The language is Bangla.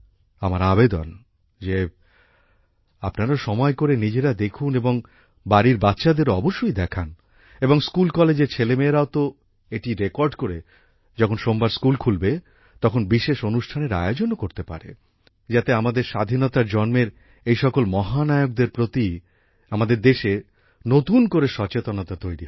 আমার আবেদন যে আপনারা সময় করে নিজেরা দেখুন এবং বাড়ির বাচ্চাদেরও অবশ্যই দেখান এবং স্কুল কলেজের ছেলেমেয়েরাতো এটি রেকর্ডিং করে যখন সোমবার স্কুল খুলবে তখন বিশেষ অনুষ্ঠানের আয়োজনও করতে পারে যাতে আমাদের স্বাধীনতার জন্মের এই সকল মহানায়কদের প্রতি আমাদের দেশে নতুন করে সচেতনতা তৈরি হয়